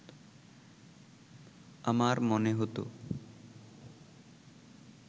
আমার মনে হতো